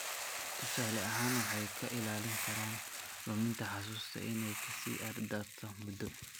Tusaale ahaan, waxay ka ilaalin karaan luminta xusuusta inay ka sii darto muddo.